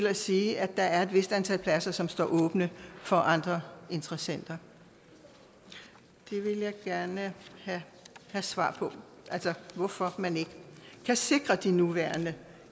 at sige at der er et vist antal pladser som står åbne for andre interessenter jeg vil gerne have svar på hvorfor man ikke kan sikre de nuværende